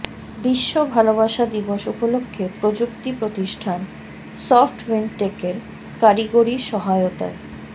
বিশ্ব ভালবাসা দিবস উপলক্ষ্যে প্রযুক্তি প্রতিষ্ঠান সফটউইন্ডটেকের কারিগরী সহায়তায়